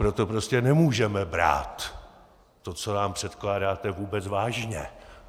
Proto prostě nemůžeme brát to, co nám předkládáte, vůbec vážně.